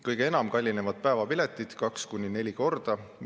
Kõige enam kallinevad päevapiletid, kaks kuni neli korda.